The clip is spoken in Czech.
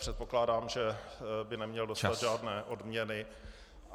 Předpokládám, že by neměl dostat žádné odměny.